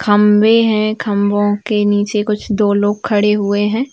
खम्बें है खम्बों के नीचें कुछ दो लोग खड़े हुए हैं।